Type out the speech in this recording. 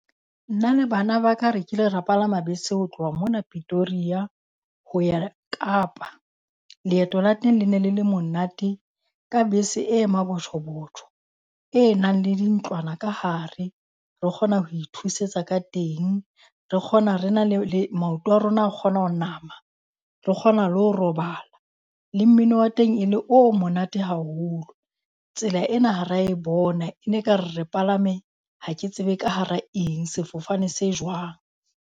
Nna le bana ba ka re kile ra palama bese ho tloha mona Pitoria ho ya Kapa. Leeto la teng le ne le le monate ka bese e mabotjho-botjho e nang le dintlwana ka hare re kgona ho ithusetsa ka teng, re kgona re na le le maoto a rona a kgona ho nama. Re kgona le ho robala le mmino wa teng e le o monate haholo. Tsela ena ha ra e bona, e ne ekare re palame, ha ke tsebe ka hara eng, sefofane se jwang.